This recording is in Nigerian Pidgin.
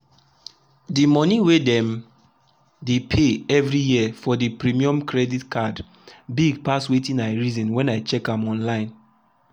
the money wey dem the pay every year for the premium credit card big pass wetin i reason when i check am online.